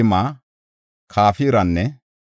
Sana7a asay 3,630;